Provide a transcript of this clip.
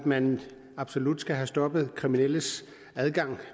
at man absolut skal have stoppet kriminelles adgang